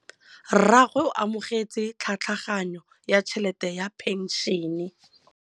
Rragwe o amogetse tlhatlhaganyô ya tšhelête ya phenšene.